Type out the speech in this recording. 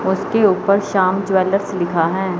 उसके ऊपर श्याम ज्वैलर्स लिखा है।